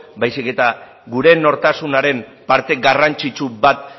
baizik eta gure nortasunaren parte garrantzitsu bat